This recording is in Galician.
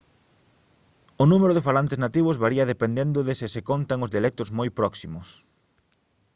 o número de falantes nativos varía dependendo de se se contan os dialectos moi próximos